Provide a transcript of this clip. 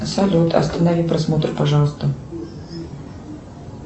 салют останови просмотр пожалуйста